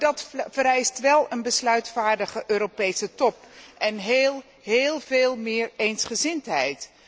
Dat vereist echter wel een besluitvaardige Europese top en heel, heel veel meer eensgezindheid.